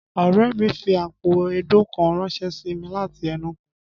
Ọ̀rẹ́ mi fi àpò èédú kan ránṣẹ́ sí mi láti Enugu